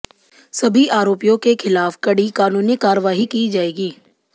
सभी आरोपियों के खिलाफ कड़ी कानूनी करवाई की जाएगी